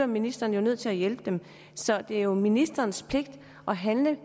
ministeren jo nødt til at hjælpe dem så det er ministerens pligt at handle